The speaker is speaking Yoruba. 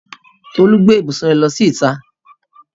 Tolú gbé ibùsùn rẹ̀ lọ síta.